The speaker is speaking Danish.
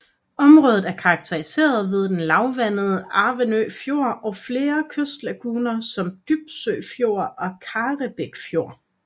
Området er karakteriseret ved den lavvandede Avnø Fjord og flere kystlaguner som Dybsø Fjord og Karrebæk Fjord